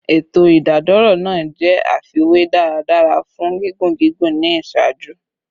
Eto idadoro naa jẹ aifwy daradara fun gigun gigun ni iṣaaju